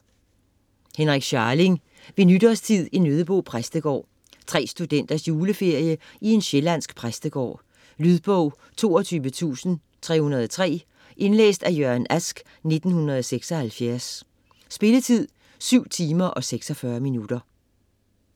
Scharling, Henrik: Ved nytårstid i Nøddebo præstegård Tre studenters juleferie i en sjællandsk præstegård. Lydbog 22303 Indlæst af Jørgen Ask, 1976. Spilletid: 7 timer, 46 minutter.